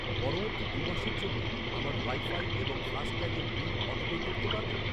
পরবর্তী দু'মাসের জন্য আমার ওয়াইফাই এবং ফাস্ট্যাগের বিল অটোপে করতে পারবেন?